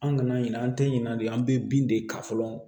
An kana ɲina an tɛ ɲina de an bɛ bin de ta fɔlɔ